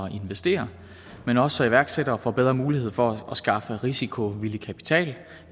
investere men også så iværksættere får bedre mulighed for at skaffe risikovillig kapital